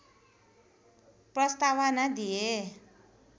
प्रस्तावना दिए